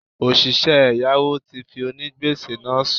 Òsìsẹ́ ẹ̀yáwó ti fi onígbèsè náà sùn